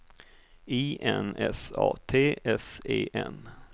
I N S A T S E N